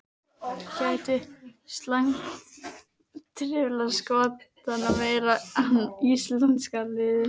Gæti slæmt veður truflað Skotana meira en íslenska liðið?